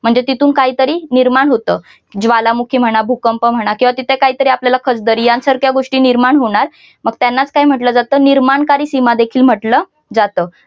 म्हणजे तिथून काहीतरी निर्माण होतं ज्वालामुखी म्हणा भूकंप म्हणा किंवा तिथे काहीतरी आपल्याला खचदरी यांसारख्या गोष्टी निर्माण होणार मग त्यांना काय म्हटलं जातं निर्माणकारी सीमा देखील म्हटलं जातं.